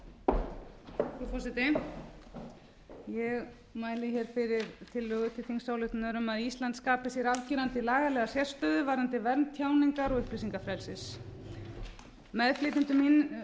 frú forseti ég mæli hér fyrir tillögu til þingsályktunar um að ísland skapi sér afgerandi lagalega sérstöðu varðandi vernd tjáningar og